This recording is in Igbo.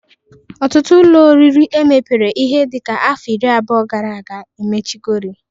Ọtụtụ ụlọ oriri emepere ihe dịka afọ iri abụọ gara aga emechigori